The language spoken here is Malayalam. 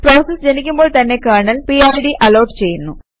പ്രോസസ് ജനിക്കുമ്പോൾ തന്നെ കെര്ണല് പിഡ് അലോട്ട് ചെയ്യുന്നു